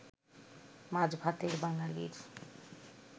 মাছ-ভাতের বাঙালির